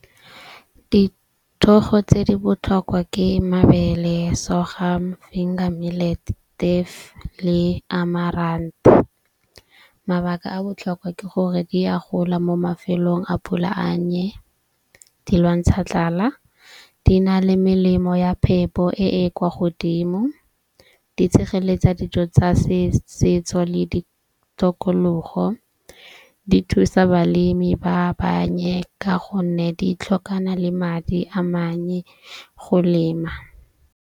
Dithogo tse di botlhokwa ke mabele, sorghum, le . Mabaka a botlhokwa ke gore di a gola mo mafelong a pula a nnye. Di lwantsha tlala, di na le melemo ya phepo e e kwa godimo, di tshegeletsa dijo tsa setso le ditokologo, di thusa balemi ba bannye. Ka gonne di tlhokana le madi a mannye go lema.